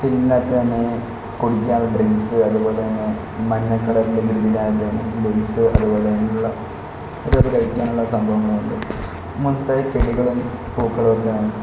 ടിന്നിനാത്തന്നെ കുടിക്കാനുള്ള ഡ്രിങ്ക്സ് അതുപോലെതന്നെ മഞ്ഞ കളർ ലേസ് അതുപോലെ തന്നുള്ള കഴിക്കാനുള്ള സംഭവങ്ങളുമുണ്ട് ചെടികളും പൂക്കളും ഒക്കെ.